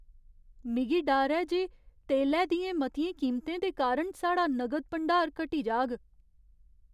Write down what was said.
मिगी डर ऐ जे तेलै दियें मतियें कीमतें दे कारण साढ़ा नगद भंडार घटी जाग।